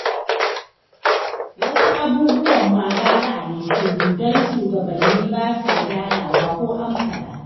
Wasu abubuwan ma gara a yi shiru don shugabanni ba sa gyarawa ko an faɗa